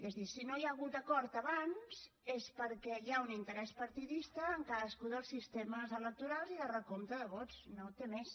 és a dir si no hi ha hagut acord abans és perquè hi ha un interès partidista en cadascun dels sistemes electorals i de recompte de vots no té més